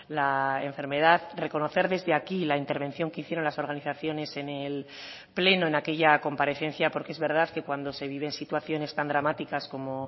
la enfermedad reconocer desde aquí la intervención que hicieron las organizaciones en el pleno en aquella comparecencia porque es verdad que cuando se viven situaciones tan dramáticas como